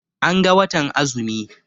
An ga watan azumi.